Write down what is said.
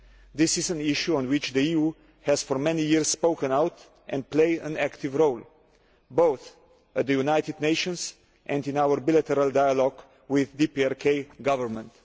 This is an issue on which the EU has for many years spoken out and played an active role, both at the United Nations and in our bilateral dialogue with the DPRK Government.